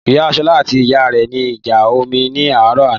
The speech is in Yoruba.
Ìyá ṣọlá àti ìyá ire ní ìjà omi ní àárọ̀ àná